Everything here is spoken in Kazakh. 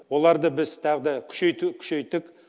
оларды біз тағы да күшейту күшейттік